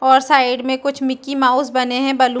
और साइड में कुछ मिक्की माउस बने है बलू --